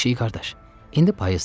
Pişik qardaş, indi payızdır.